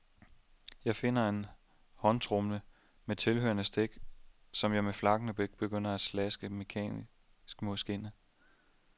Jeg finder en håndtromme med tilhørende stik, som jeg med flakkende blik begynder at slaske mekanisk mod skindet.